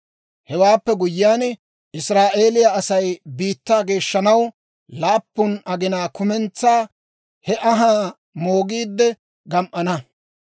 Hewaappe guyyiyaan, Israa'eeliyaa Asay biittaa geeshshanaw, laappun aginaa kumentsaa he anhaa moogiidde gam"ana.